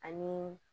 Ani